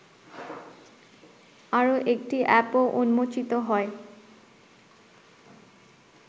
আরও একটি অ্যাপও উন্মোচিত হয়